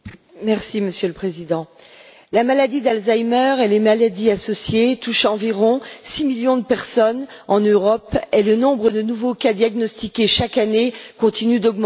Monsieur le Président, la maladie d'Alzheimer et les maladies associées touchent environ 6 millions de personnes en Europe et le nombre de nouveaux cas diagnostiqués chaque année continue d'augmenter.